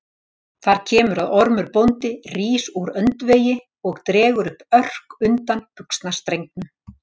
Þar kemur að Ormur bóndi rís úr öndvegi og dregur upp örk undan buxnastrengnum.